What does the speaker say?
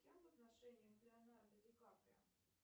с кем в отношениях леонардо ди каприо